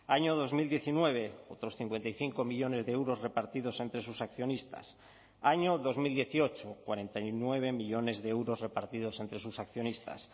año dos mil diecinueve otros cincuenta y cinco millónes de euros repartidos entre sus accionistas año dos mil dieciocho cuarenta y nueve millónes de euros repartidos entre sus accionistas